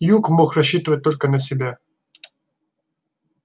юг мог рассчитывать только на себя